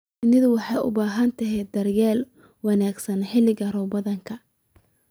Shinnidu waxay u baahan tahay daryeel wanaagsan xilliga roobaadka.